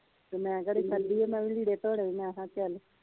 ਤੇ ਮੈ ਕਿਹੜੀ ਖਾਦੀ ਆ ਮੈ ਵੀ ਲੀੜੇ ਧੋਲੇ ਈਏ ਮੈ ਕਿਹਾ ਚੱਲ